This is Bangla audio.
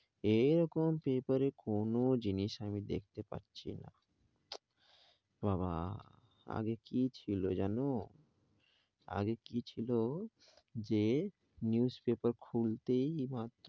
এরকম paper কোনো জিনিস আমি দেখতে পাচ্ছি না বাবাঃ আগে কি ছিল জানো, আগে কি ছিল যে newspaper খুলতেই।